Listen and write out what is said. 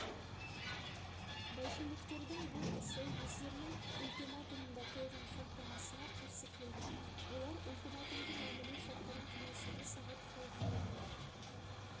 большевиктердің бұл ісі өздерінің ультиматумында қойған шарттамасына қарсы келді олар ультиматумды мәміле шарттарын кеңесуге сағат қойған еді